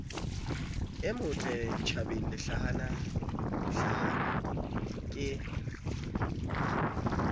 e motle ditjhabeng lehlanahlana ke